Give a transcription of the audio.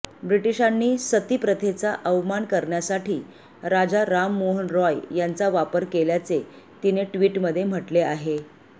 ब्रिटीशांनी सती प्रथेचा अवमान करण्यासाठी राजा राममोहन रॉय यांचा वापर केल्याचे तिने ट्विटमध्ये म्हटले आहे